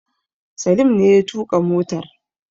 Salim ne ya tuƙa motar